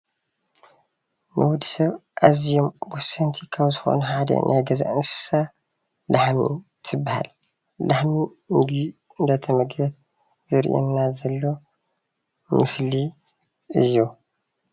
ንወድሰብ ኣዝዮም ወሰንቲ ካብ ዝኮኑ ሓደ ናይ ገዛ እንስሳ ላሕሚ ትበሃል። ላሕሚ ምግቢ እንዳተመገበት ዘርእየና ዘሎ ምስሊ እዩ